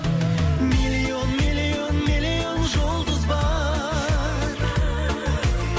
миллион миллион миллион жұлдыз бар